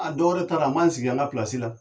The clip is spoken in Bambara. A dɔwɛrɛ taara a man sigi an ka pilasi la